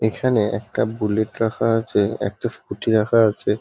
এখানে একটা বুলেট রাখা আছে একটা স্কুটি রাখা আছে ।